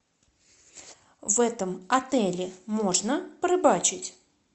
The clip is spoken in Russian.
в этом отеле можно порыбачить